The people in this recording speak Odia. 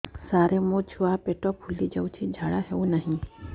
ସାର ମୋ ଛୁଆ ପେଟ ଫୁଲି ଯାଉଛି ଝାଡ଼ା ହେଉନାହିଁ